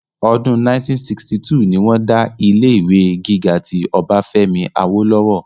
ọdún 1962 ni wọ́n dá ilé ìwé gíga ti ọbáfẹ́mi awólọ́wọ̀